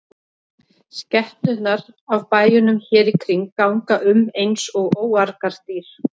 Skepnurnar af bæjunum hér í kring ganga um eins og óargadýr.